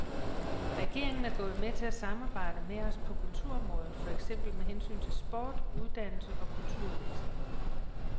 Regeringen er gået med til at samarbejde med os på kulturområdet, for eksempel med hensyn til sport, uddannelse og kulturudveksling.